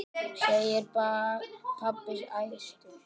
segir pabbi æstur.